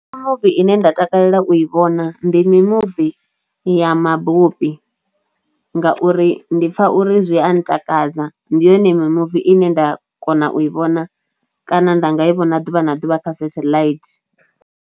mimuvi ine nda takalela u i vhona ndi mimuvi ya mabopi ngauri ndi pfha uri zwi a ntakadza ndi yone mimuvi ine nda kona u i vhona kana nda nga i vhona ḓuvha na ḓuvha kha setheḽaithi.